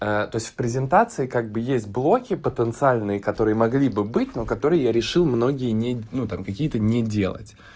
то есть в презентации как бы есть блохи потенциальные которые могли бы быть но которые я решил многие не ну там какие-то не делать